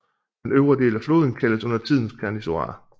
Den øvre del af floden kaldes undertiden Cernișoara